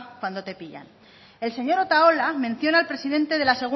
cuando te pillan el señor otaola menciona al presidente de la